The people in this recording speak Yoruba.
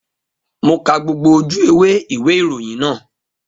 Mo ka gbogbo ojú ewé ìwé ìròyìn náà